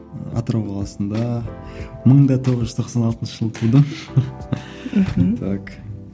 атырау қаласында мың да тоғыз жүз тоқсан алтыншы жылы тудым мхм так